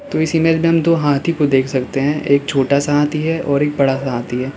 तो इस इमेज में हम दो हाथी को देख सकते हैं एक छोटा सा हाथी और एक बड़ा सा हाथी है।